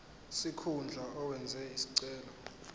sikhundla owenze isicelo